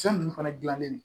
Fɛn ninnu fana dilannen no